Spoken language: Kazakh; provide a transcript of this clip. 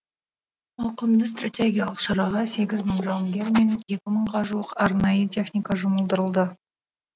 ауқымды стратегиялық шараға сегіз мың жауынгер мен екі мыңға жуық арнайы техника жұмылдырылды